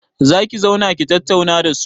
Za ki zauna ki tattauna da su?